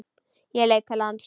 Ég leit til lands.